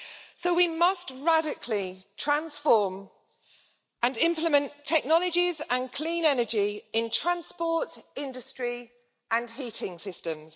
So we must radically transform and implement technologies and clean energy in transport, industry and heating systems.